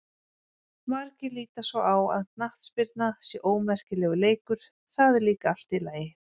Margir líta svo á að knattspyrna sé ómerkilegur leikur, það er líka allt í lagi.